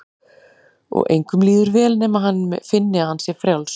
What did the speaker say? Og engum líður vel nema hann finni að hann sé frjáls.